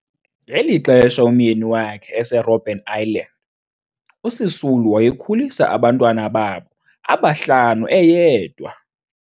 Ngeli xesha umyeni wakhe eseRobben Island, uSisulu wayekhulisa abantwana babo aba-5 eyedwa.